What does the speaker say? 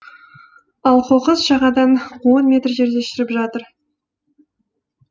ал қоқыс жағадан он метр жерде шіріп жатыр